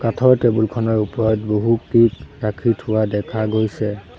কাঠৰ টেবুল খনৰ ওপৰত বহু ৰাখি থোৱা দেখা গৈছে।